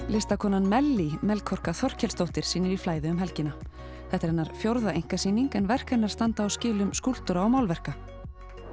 listakonan Melkorka Þorkelsdóttir sýnir í flæði um helgina þetta er hennar fjórða einkasýning en verk hennar standa á skilum skúlptúra og málverka